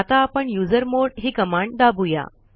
आता आपण युझरमॉड ही कमांड दाबूया